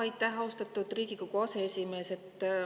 Aitäh, austatud Riigikogu aseesimees!